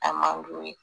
A man d'u ye